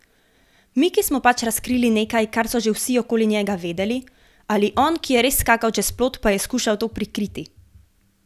Mi, ki smo pač razkrili nekaj, kar so že vsi okoli njega vedeli, ali on, ki je res skakal čez plot, pa je skušal to prikriti.